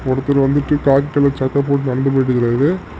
ஒருத்தர் வந்துட்டு khaki colour சட்டை போட்டு நடந்து போயிட்ருக்காரு.